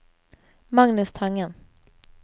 Magnus Tangen